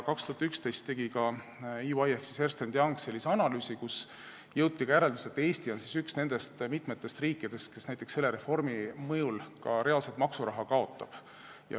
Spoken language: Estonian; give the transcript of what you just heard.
2011. aastal tegi ka EY ehk Ernst & Young analüüsi, kus jõuti järeldusele, et Eesti on üks nendest mitmest riigist, kes näiteks selle reformi mõjul ka reaalselt maksuraha kaotab.